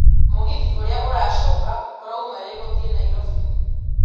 mũgithi ũrĩa ũracoka ũrauma rĩ gũthiĩ nairobi